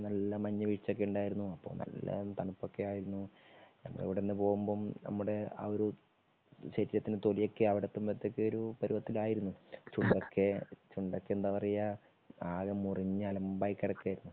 നല്ല മഞ്ഞു വീഴ്ച ഒക്കെ ഉണ്ടായിരുന്നു. അപ്പോ നല്ല തണുപ്പ് ഒക്കെ ആയിരുന്നു. ഞങ്ങൾ അവിടെ അന്ന് പോകുമ്പോ നമ്മുടെ എഅ ഒരു ശരീരത്തിന്റെ തൊലിയൊക്കെ അവിടെ എത്തുമ്പോഴേക്ക് ഒരു പരുവത്തിലായിരുന്നു. ചുണ്ടൊക്കെ ചുണ്ടൊക്കെ എന്താ പറയാ ആകെ മുറിഞ്ഞ് അലമ്പായി കിടക്കുകയായിരുന്നു.